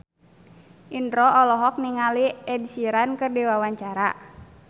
Indro olohok ningali Ed Sheeran keur diwawancara